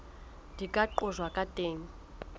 di ka qojwang ka teng